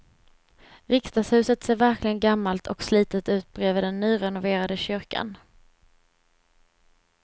Riksdagshuset ser verkligen gammalt och slitet ut bredvid den nyrenoverade kyrkan.